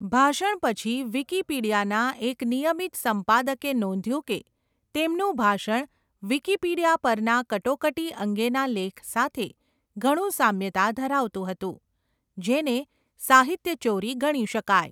ભાષણ પછી વિકિપીડિયાના એક નિયમિત સંપાદકે નોંધ્યું કે તેમનું ભાષણ વિકિપીડિયા પરના કટોકટી અંગેના લેખ સાથે ઘણું સામ્યતા ધરાવતું હતું, જેને સાહિત્યચોરી ગણી શકાય.